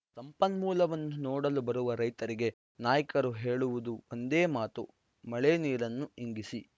ಸಂಪನ್ಮೂಲವನ್ನು ನೋಡಲು ಬರುವ ರೈತರಿಗೆ ನಾಯ್ಕರು ಹೇಳುವುದು ಒಂದೇ ಮಾತು ಮಳೆ ನೀರನ್ನು ಇಂಗಿಸಿ